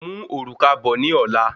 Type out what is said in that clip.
Mú òrùka bọ ní ola